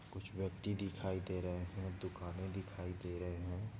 कुछ व्यक्ति दिखाई दे रहे है दुकाने दिखाई दे रहे हैं।